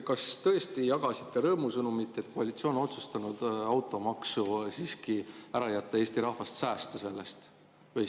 Kas tõesti jagasite rõõmusõnumit, et koalitsioon on otsustanud automaksu siiski ära jätta, Eesti rahvast säästa sellest?